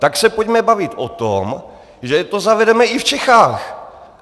Tak se pojďme bavit o tom, že to zavedeme i v Čechách.